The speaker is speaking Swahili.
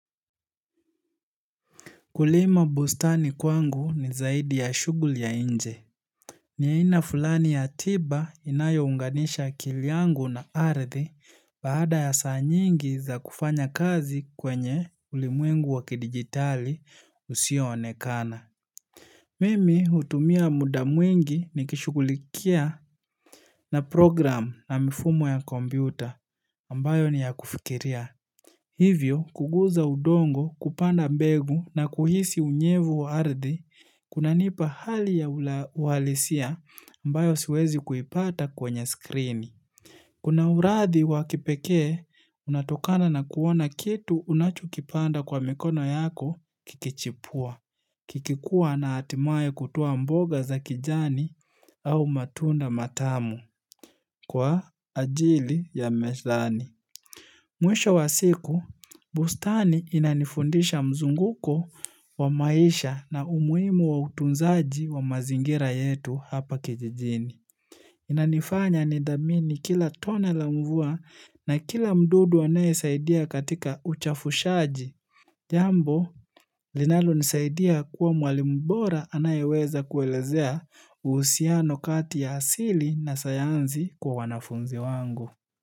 Kulima bustani kwangu ni zaidi ya shughuli ya nje. Ni aina fulani ya tiba inayounganisha akili yangu na ardhi baada ya saa nyingi za kufanya kazi kwenye ulimwengu wakidigitali usionekana. Mimi hutumia muda mwingi nikishugulikia na program na mifumo ya kompyuta ambayo ni ya kufikiria. Hivyo, kuguza udongo kupanda mbegu na kuhisi unyevu wa ardhi, kunanipa hali ya uhalisia ambayo siwezi kuipata kwenye skrini. Kuna urathi wakipekee, unatokana na kuona kitu unachokipanda kwa mikono yako kikichipua. Kikikua na hatimaye kutuwa mboga za kijani au matunda matamu kwa ajili ya mezani. Mwisho wa siku, bustani inanifundisha mzunguko wa maisha na umuhimu wa utunzaji wa mazingira yetu hapa kijijini. Inanifanya nidhamini kila tone la mvua na kila mdudu anayesaidia katika uchafushaji. Jambo, linalonisaidia kuwa mwalimu bora anayeweza kuelezea uhusiano kati ya asili na sayansi kwa wanafunzi wangu.